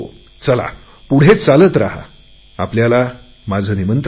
चला पुढे या आपल्याला माझे निमंत्रण आहे